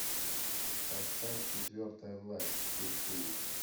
поставь четвертая власть четыре кей